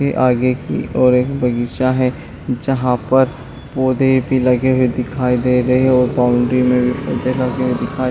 की आगे की ओर एक बगीचा है जहाँ पर पौधे भी लगे हुए दिखाई दे रहे हैं और बाउंड्री में भी पौधे लगे हुए दिखाई--